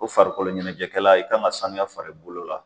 Ko farikolo ɲɛnajɛkɛla, i kan jka samiya far'i bolo la.